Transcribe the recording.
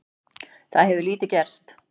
Það hefur lítið gerst.